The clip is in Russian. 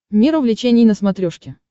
мир увлечений на смотрешке